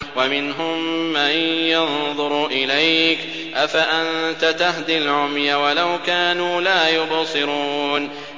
وَمِنْهُم مَّن يَنظُرُ إِلَيْكَ ۚ أَفَأَنتَ تَهْدِي الْعُمْيَ وَلَوْ كَانُوا لَا يُبْصِرُونَ